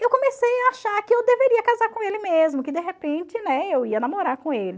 eu comecei a achar que eu deveria casar com ele mesmo, que de repente, né, eu ia namorar com ele.